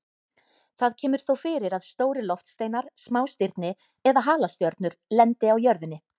Það kemur þó fyrir að stórir loftsteinar, smástirni eða halastjörnur lendi á jörðinni.